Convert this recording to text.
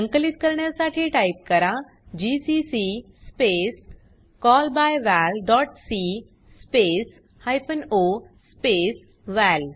संकलित करण्यासाठी टाइप करा जीसीसी स्पेस callbyvalसी स्पेस हायफेन ओ स्पेस वळ